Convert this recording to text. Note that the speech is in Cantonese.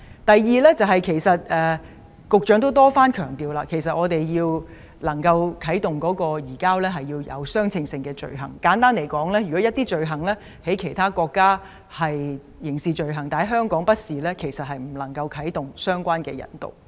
第二，局長多番強調，即使我們想啟動移交程序，也要有相稱的罪行，簡單而言，如果一些罪行在其他國家屬於刑事罪行，但在香港卻不屬刑事罪行，便無法啟動引渡程序。